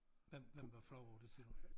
Hvem hvem var flov over det siger du